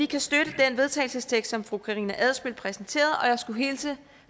kan støtte den vedtagelsestekst som fru karina adsbøl præsenterede og jeg skulle hilse